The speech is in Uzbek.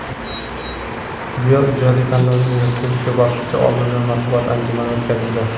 "Duel ijodiy tanlovining respublika bosqichi" oldidan matbuot anjumani o‘tkazildi.